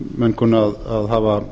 menn kunni að hafa